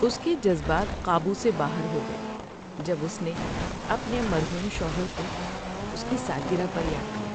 اس کے جذبات قابو سے باہر ہو گئے جب اس نے اپنے مرحوم شوہر کو اس کی سالگرہ پر یاد کیا۔